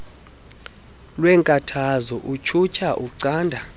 weenkathazo utyhutyha ucanda